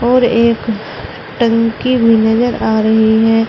और एक टंकी भी नजर आ रही है।